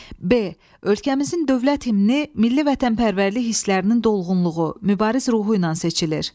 B. Ölkəmizin dövlət himni milli vətənpərvərlik hislərinin dolğunluğu, mübariz ruhu ilə seçilir.